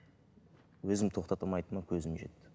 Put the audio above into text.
өзімді тоқтата алмайтыныма көзім жетті